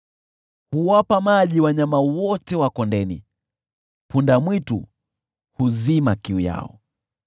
Huwapa maji wanyama wote wa kondeni, punda-mwitu huzima kiu yao.